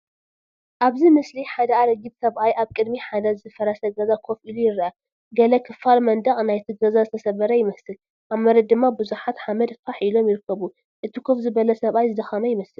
ኣብዚ ምስሊ ሓደ ኣረጊት ሰብኣይ ኣብ ቅድሚ ሓደ ዝፈረሰ ገዛ ኮፍ ኢሉ ይርአ። ገለ ክፋል መንደቕ ናይቲ ገዛ ዝተሰብረ ይመስል። ኣብ መሬት ድማ ብዙሕ ሓመድ ፋሕ ኢሉ ይርከብ። እቲ ኮፍ ዝበለ ሰብኣይ ዝደኸመ ይመስል።